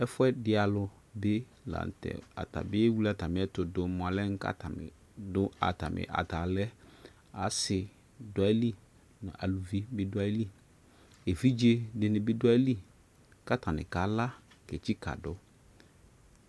Ɛfuɛ de alu de lantɛAtabe ewle atame ɛto do mo alɛ ka atame do atame atalɛAse do ayili, aluvi be do ayiliEvidze de ne be do ayili ka atane kala ke tsika do